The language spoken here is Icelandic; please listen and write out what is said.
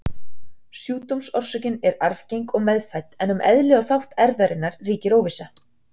Sjúkdómsorsökin er arfgeng og meðfædd, en um eðli og þátt erfðarinnar ríkir óvissa.